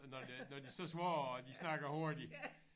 Når det når de så svare og de snakker hurtigt